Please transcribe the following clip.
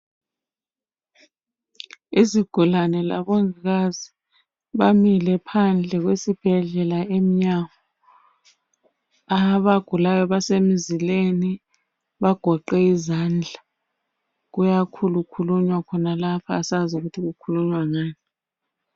Izigulane labongikazi bamile phandle kwesibhedlela emnyango. Abagulayo basemzileni bagqoke izandla. Kuyakhulukhulunywa khonalapho, asazi ukuthi kukhulunywa ngani.